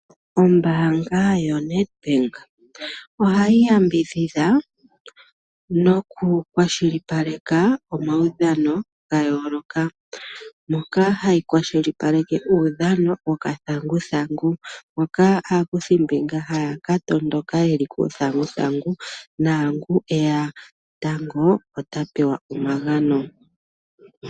Ombanga yo Nedbank ohayi yambidhidha noku kwashilipaleka omawudhano ngayoloka, moka hayi kwashilipaleke kutya udhamo wokathanguthangu moka akuthi mbinga hakatondoka yeli kuthanguthangu nongu eya tango ota pewa omagano.